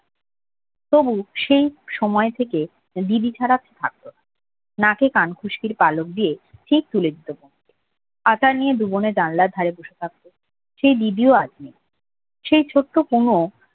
তবুও সেই সময় থেকে দিদি ছাড়া থাকতো না নাকে কানখুশকির পালক দিয়ে ঠিক তুলে দিত আতা নিয়ে দুবোনে জানলার ধারে বসে থাকতো সে দিদিও সেই ছোট্ট পুনু